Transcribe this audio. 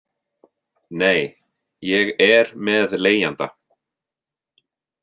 Nei, ég er með leigjanda.